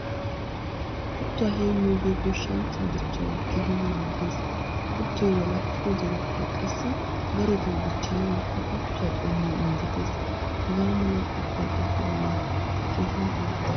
Kuttuwaa heemiyoge goshshanchchaa dichchawu keehin maadees. Kuttoy walakkido zerettay qassi darotto dichchanawu ha kuttuwaa qommoy injjettees. Haga mala kuttuwawu phuphphulle keehin ordde.